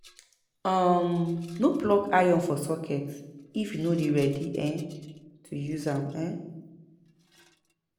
um No plug iron for socket if you no dey ready um to use am. um